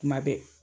Kuma bɛɛ